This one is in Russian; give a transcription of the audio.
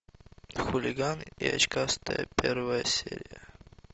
хулиган и очкастая первая серия